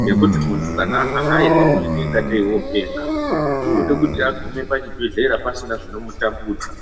Ngekuti muntu kana ahahairwa anoita kunge tee openga unode kuti agume pachibhedhlera pasina zvinomutambudza.